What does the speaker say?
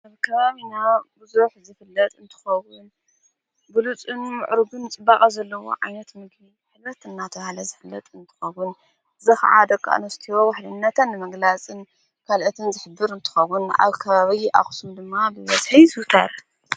ኣብ ከባቢና ብዙሐት ዝፍለጥ እንትኸዉን ብሉጽን ምዕሩግን ጽባቐ ዘለዉ ዓይነት ምግቢ ጉልበትና ዘሳለጥ እንተኸዉን አክሱም ዉህልነት መግላጽን ካልእትን ዘግበር እንትኸዉን ኣብ ከባበዪ ኣኽስም ድማ ብበዝሒ ይዝዉተር።